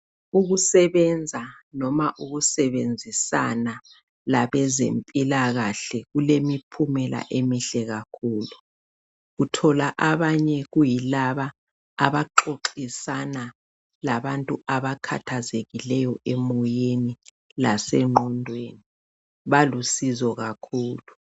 Ukusebenza noma ukusebenzisana labezempilakahle kulemiphumela emihle kakhulu, uthola abanye kuyilaba abaxoxisana labantu abakhathazekileyo emoyeni lasengqondweni, balusizo kakhulu.